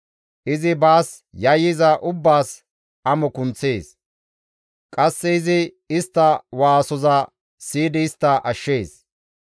Izi baas yayyiza ubbaas amo kunththees. Qasse izi istta waasoza siyidi istta ashshees.